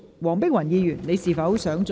黃碧雲議員，你是否想再次發言？